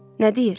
Nə deyir?